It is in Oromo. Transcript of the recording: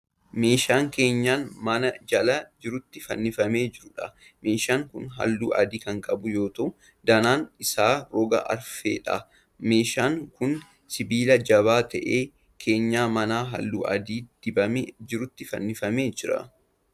Meeshaa keenyan manaa jala jirutti fannifamee jiruudha. Meeshaan kun halluu adii kan qabu yoo ta'u danaan isaa roga arfeedha. Meeshaan kun sibiila jabaa ta'een keenyan manaa halluu adiin dibamee jirutti fannifamee jira.